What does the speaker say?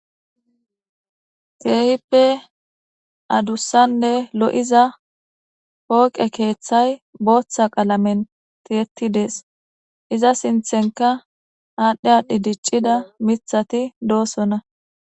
Keehippe adussanne lo7iza pooqe keeththay booththa qalamen tiettidees iza sinthenka aadhdhe aadhdhi diccida mithati doosona